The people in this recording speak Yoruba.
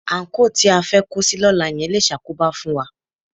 Àńkò tí a fẹ́ kó sí lọ́la yẹn le ṣàkóbá fún wa